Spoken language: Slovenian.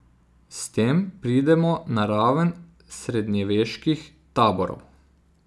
S tem pridemo na raven srednjeveških taborov.